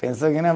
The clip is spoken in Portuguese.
Pensou que não?